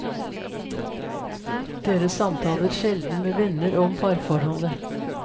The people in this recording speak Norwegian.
Dere samtaler sjelden med venner om parforholdet.